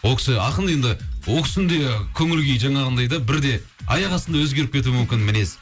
ол кісі ақын енді ол кісінің де көңіл күйі жаңағындай да бірде аяқ астынан өзгеріп кетуі мүмкін мінез